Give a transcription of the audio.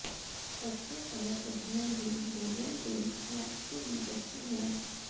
कच्चे फल और सब्जियां भी भोजन के स्नैक्स के बीच अच्छे हैं